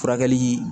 Furakɛli